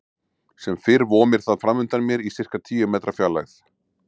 Sem fyrr vomir það framundan mér í sirka tíu metra fjarlægð.